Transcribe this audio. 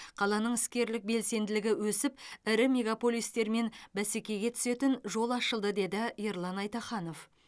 қаланың іскерлік белсенділігі өсіп ірі мегаполистермен бәсекеге түсетін жол ашылды деді ерлан айтаханов